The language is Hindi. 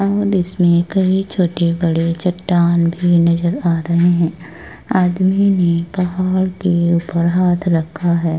इसमें कई छोटे बड़े चट्टान भी नज़र आ रहे हैं। आदमी ने पहाड़ के उपर हाथ रखा है।